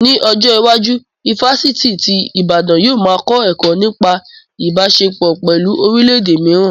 Ní ọjọ́ iwájú, ifásitì ti Ìbàdàn yóò ma kọ́ ẹ̀kọ́ nípa Ìbáṣepọ̀ pẹ̀lú orílẹ̀ èdè mìíràn